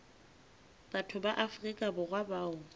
batho ba afrika borwa bao